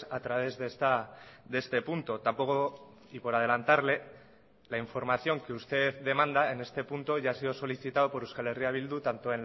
a través de este punto tampoco y por adelantarle la información que usted demanda en este punto ya ha sido solicitado por euskal herria bildu tanto